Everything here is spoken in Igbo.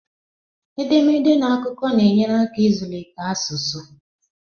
Edemede na akụkọ na-enyere aka ịzụlite asụsụ